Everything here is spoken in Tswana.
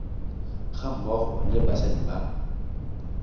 ga mmogo le basadi ba